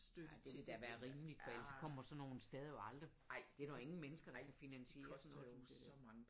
Ja det ville da være rimeligt for ellers kommer sådan nogle steder jo aldrig det er der jo ingen mennesker der kan finansiere sådan noget som det dér